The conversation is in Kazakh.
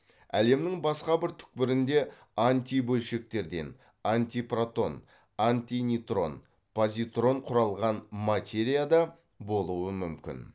әлемнің басқа бір түкпірінде антибөлшектерден құралған материя да болуы мүмкін